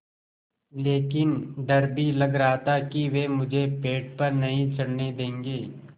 लेकिन डर भी लग रहा था कि वे मुझे पेड़ पर नहीं चढ़ने देंगे